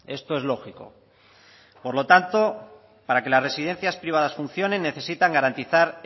esto es lógico por lo tanto para que las residencias privadas funcionen necesitan garantizar